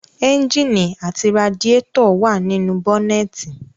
Ẹ́ńjìnì àti radiétọ̀ wà nínú bọ́nẹ́ẹ̀nì